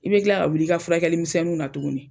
I bɛ kila ka wuli i ka furakɛli misɛnniw na tugunni.